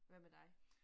Hvad med dig